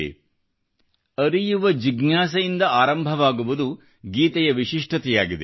ಇದು ಅರಿಯುವ ಜಿಜ್ಞಾಸೆಯಿಂದ ಆರಂಭವಾಗುವುದು ಗೀತೆಯ ವಿಶಿಷ್ಠತೆಯಾಗಿದೆ